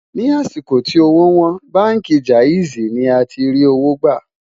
ní àsìkò tí òwò wón, bánkì jaizi ní àti rí owó gbà